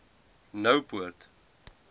noupoort